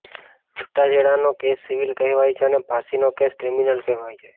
છૂટાછેડાનો case civil કહેવાય છે અને ફાંસીનો કેસ ક્રિમિનલ કહેવાય છે